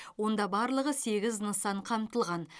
онда барлығы сегіз нысан қамтылған